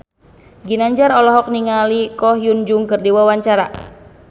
Ginanjar olohok ningali Ko Hyun Jung keur diwawancara